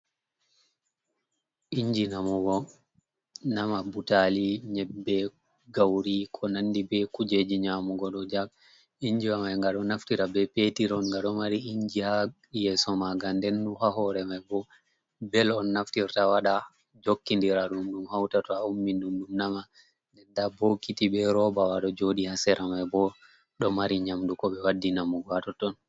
Inji namugo nama butali, nyebbe, gauri ko nandi be kujeji nyamugo do jag inji wa mai ga do naftira be petir on ga do mari inji ha yeso maga, ndenuha hore mai bo bel on naftirta wada jokki ndira dum dum hautato a ummi dum dum nama, der da bbokiti be robawado jodi hasera mai bo do mari nyamduko be waddi namugo ato ton.